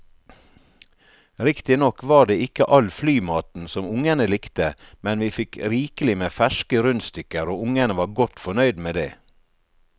Riktignok var det ikke all flymaten som ungene likte, men vi fikk rikelig med ferske rundstykker og ungene var godt fornøyd med det.